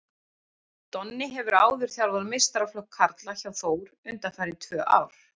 Donni hefur áður þjálfað meistaraflokk karla hjá Þór undanfarin tvö ár.